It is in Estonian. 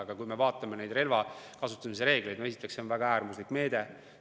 Aga kui me vaatame relva kasutamise reegleid, siis näeme, et see on väga äärmuslik meede.